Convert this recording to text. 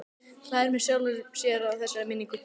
Hlær með sjálfum sér að þessari minningu.